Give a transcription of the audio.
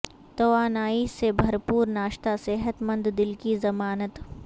توانائی سے بھرپور ناشتہ صحت مند دل کی ضمانت